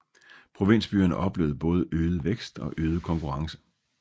Provinsbyerne oplevede både øget vækst og øget konkurrence